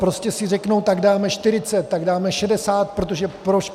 Prostě si řeknou, tak dáme 40, tak dáme 60, protože proč?